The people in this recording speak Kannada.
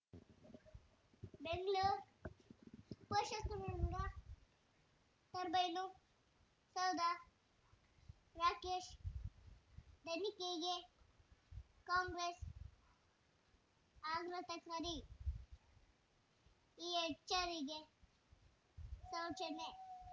ಬೆಂಗಳೂರ್ ಪೋಷಕರಋಣ ಟರ್ಬೈನು ಸೌಧ ರಾಕೇಶ್ ತನಿಖೆಗೆ ಕಾಂಗ್ರೆಸ್ ಆಘಾತ್ರ ಕಾರಿ ಈ ಜ್ಜಾರಿಗೆ ಸ್ವಚ್ಛನೆ